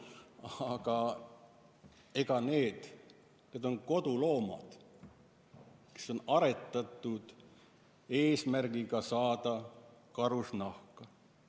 Aga ega need loomad, kes on aretatud eesmärgiga saada karusnahka, ära ei kao.